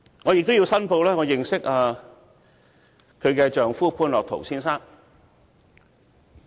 我也要申報我認識她的丈夫潘樂陶先生。